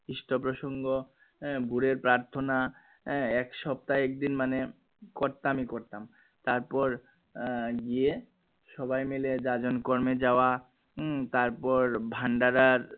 কৃষ্ট প্রসঙ্গ আহ ভোরের প্রার্থনা আহ এক সপ্তাহে একদিন মানে করতাম ই করতাম তার পর আহ গিয়ে সবাই মিলে জাজন কর্মে যাওয়া উম তরপর ভান্ডারার